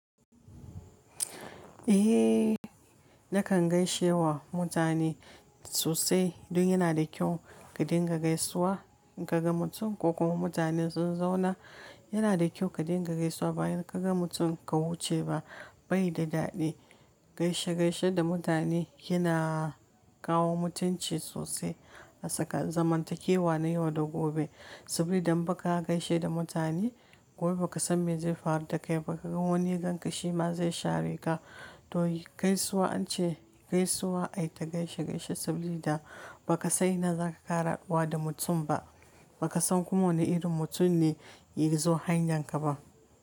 Eh, nakan gaishe wa mutane sosai. Don yana da kyau ka dinga gaisuwa. In kaga mutum ko kuma mutanen sun zauna, yana da kyau ka dinga gaisuwa bayan ka ga mutum ka wuce ba, bai da daɗi. Gaishe-gaishe da mutane yana kawo mutunci sosai a saka zamantakewa na yau da gobe. Saboda idan ba ka gaishe da mutane, gobe ba ka san me zai faru da kai ba, ka ga wani ganka shi ma zai share ka. To gaisuwa ance gaisuwa ai ta gaishe-gaishe saboda ba ka sani na za ka ƙara haduwa da mutum ba. Ba ka san kuma wane irin mutum ne ya zo hanyarka ba.